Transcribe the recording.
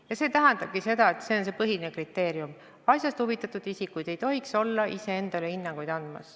Ja see ongi põhiline kriteerium: asjast huvitatud isikud ei tohiks olla iseendale hinnanguid andmas.